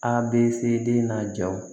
A bɛ se den na jaw